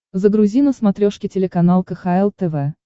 загрузи на смотрешке телеканал кхл тв